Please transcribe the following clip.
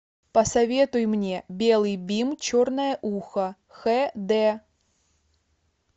посоветуй мне белый бим черное ухо хд